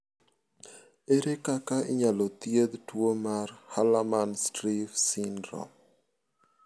Ere kaka inyalo thiedh tuo mar Hallermann Streiff syndrome?